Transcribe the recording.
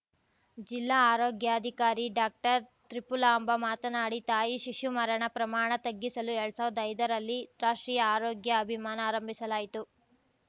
ಜಿಲ್ಲಾ ಆರೋಗ್ಯಾಧಿಕಾರಿ ಡಾಕ್ಟರ್ತ್ರಿಪುಲಾಂಭ ಮಾತನಾಡಿ ತಾಯಿ ಶಿಶು ಮರಣ ಪ್ರಮಾಣ ತಗ್ಗಿಸಲು ಎಲ್ಡು ಸಾವಿರ್ದಾ ಐದರಲ್ಲಿ ರಾಷ್ಟ್ರೀಯ ಆರೋಗ್ಯ ಅಭಿಮಾನ ಆರಂಭಿಸಲಾಯಿತು